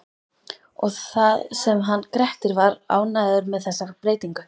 Og það sem hann Grettir var ánægður með þessa breytingu!